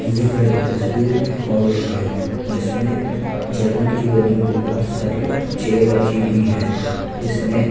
दिख रही तस्वीर एक हाल की है जिस में जर्मन की बनी हुई बहुत सारी चेयर रखी हुई है जिसमें--